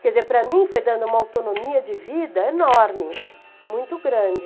Quer dizer, para mim foi dando uma autonomia de vida enorme, muito grande.